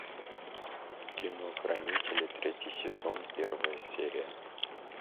кино хранители третий сезон первая серия